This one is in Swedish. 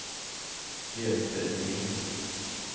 Göte Lind